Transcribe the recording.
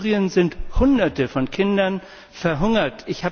In Syrien sind Hunderte von Kindern verhungert.